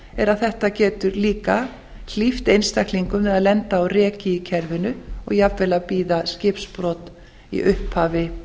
að þetta getur líka hlíft einstaklingum við að lenda á reki í kerfinu og jafnvel að bíða skipbrot í upphafi